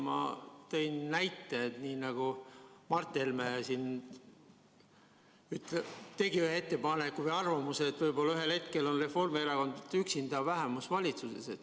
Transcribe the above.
Ma tõin näite, nii nagu Mart Helme tegi ühe ettepaneku või avaldas arvamust, et võib-olla ühel hetkel on Reformierakond üksinda vähemusvalitsuses.